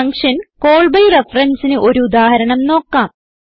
function call by referenceന് ഒരു ഉദാഹരണം നോക്കാം